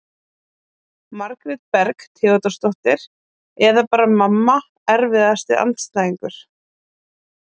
Margrét Berg Theodórsdóttir eða bara mamma Erfiðasti andstæðingur?